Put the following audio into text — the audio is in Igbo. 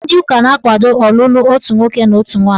Ndị ụka na-akwado ọlụlụ otu nwoke na otu nwaanyị.